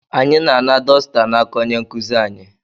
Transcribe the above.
Anyị na-ana dosita n'aka onye nkuzi anyị.